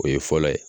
O ye fɔlɔ ye